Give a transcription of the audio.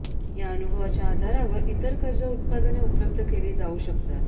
या अनुभवाच्या आधारावर इतर कर्ज उत्पादने उपलब्ध केली जाऊ शकतात